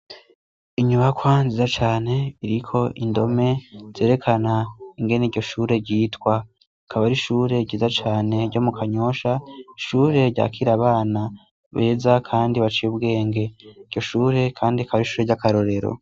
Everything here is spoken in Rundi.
Inyubakwa nziza cane iriko indome zerekana ingene iryo shure ryitwa rikaba ari ishure ryiza cane ryo mu Kanyosha, ishure ryakira abana beza kandi baciye ubwenge, iryo shure kandi akaba ari ishure ryakarorero.